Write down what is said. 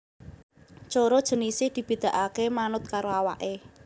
Coro jinisé dibedakaké manut karo awaké